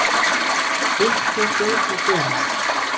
Eitthvað hlaut að gerast.